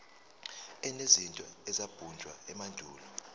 enezinto ezabunjwa emandulo